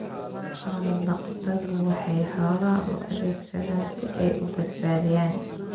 Xoolo-dhaqatodu waxay xoolaha u adeegsadaan si ay u badbaadiyaan.